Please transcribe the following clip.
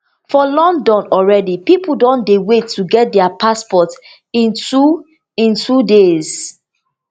for london already pipo don dey wait to get dia passports in two in two days